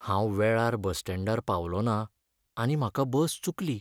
हांव वेळार बस स्टँडार पावलो ना आनी म्हाका बस चुकली.